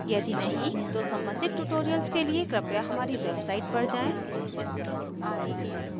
यदि नहीं तो सम्बंधित tutorials के लिए कृपया हमारी website पर जाएँ